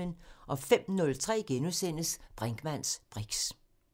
05:03: Brinkmanns briks *